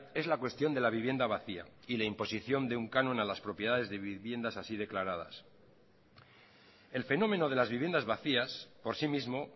es la cuestión de la vivienda vacía y la imposición de un canon a las propiedades de viviendas así declaradas el fenómeno de las viviendas vacías por sí mismo